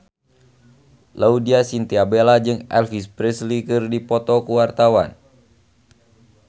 Laudya Chintya Bella jeung Elvis Presley keur dipoto ku wartawan